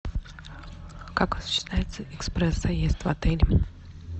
как осуществляется экспресс заезд в отель